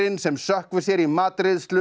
sem sökkvir sér í matreiðslu